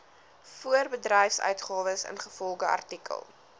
voorbedryfsuitgawes ingevolge artikel